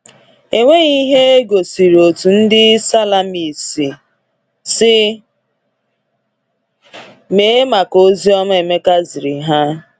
Enweghị ihe egosiri otú ndị Salamis si mee maka oziọma Emeka ziri ha.